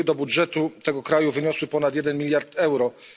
wpływy do budżetu tego kraju wyniosły ponad 1 mld euro.